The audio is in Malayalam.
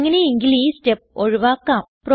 അങ്ങനെയെങ്കിൽ ഈ സ്റ്റെപ് ഒഴിവാക്കാം